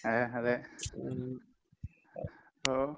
അതെ അതെ. അപ്പൊ